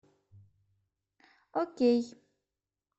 окей